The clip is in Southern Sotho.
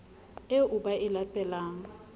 eo ba e late lang